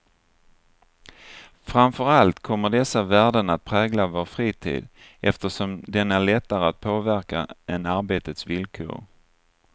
Framför allt kommer dessa värden att prägla vår fritid, eftersom den är lättare att påverka än arbetets villkor.